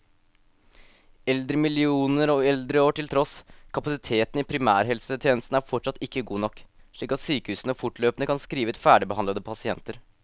Eldremillioner og eldreår til tross, kapasiteten i primærhelsetjenesten er fortsatt ikke god nok, slik at sykehusene fortløpende kan skrive ut ferdigbehandlede pasienter.